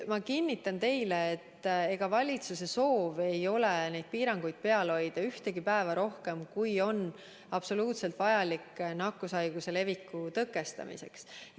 Ma kinnitan teile, et valitsuse soov ei ole piiranguid peal hoida ühtegi päeva rohkem, kui on vajalik nakkushaiguse leviku tõkestamiseks.